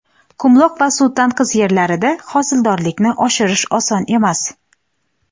qumloq va suv tanqis yerlarida hosildorlikni oshirish oson emas.